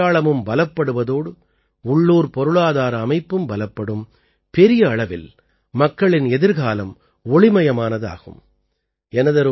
இதனால் நமது அடையாளமும் பலப்படுவதோடு உள்ளூர்ப் பொருளாதார அமைப்பும் பலப்படும் பெரிய அளவில் மக்களின் எதிர்காலம் ஒளிமயமானதாகும்